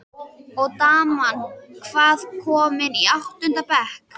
Og daman, hvað- komin í áttunda bekk?